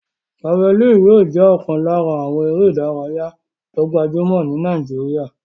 Jafalínì yóò jẹ́ ọ̀kan lára àwọn eré ìdárayá tó gbajúmọ̀ ní Nàìjíríyà